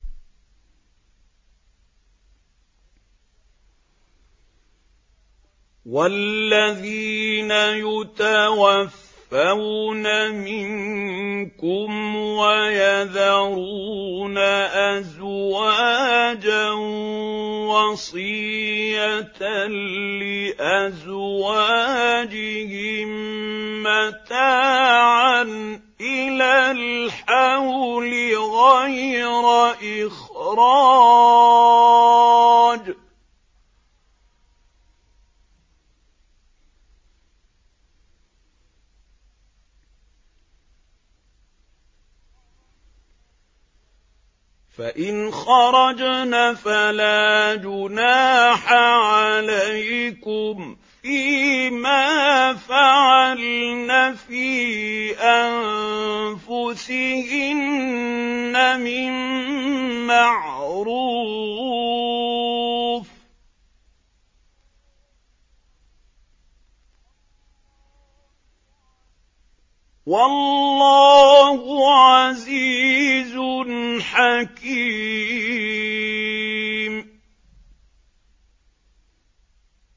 وَالَّذِينَ يُتَوَفَّوْنَ مِنكُمْ وَيَذَرُونَ أَزْوَاجًا وَصِيَّةً لِّأَزْوَاجِهِم مَّتَاعًا إِلَى الْحَوْلِ غَيْرَ إِخْرَاجٍ ۚ فَإِنْ خَرَجْنَ فَلَا جُنَاحَ عَلَيْكُمْ فِي مَا فَعَلْنَ فِي أَنفُسِهِنَّ مِن مَّعْرُوفٍ ۗ وَاللَّهُ عَزِيزٌ حَكِيمٌ